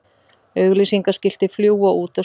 Auglýsingaskilti fljúga út og suður